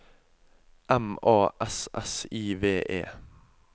M A S S I V E